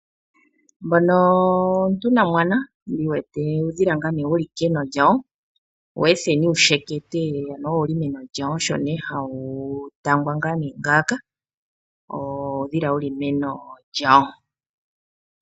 Omuntu nomwana uudhila wuli meno lyawo weetheni wushekete osho ne hawu tangwa ngawo.